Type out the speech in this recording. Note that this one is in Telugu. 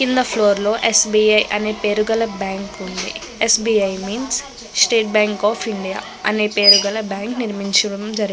కింద ఫ్లోర్ లో స్. బీ. ఐ అని పేరు గల బ్యాంక్ ఉంది. S. B. I means state bank of India అనే పేరు గల బ్యాంక్ నిర్మించడం జరిగింది.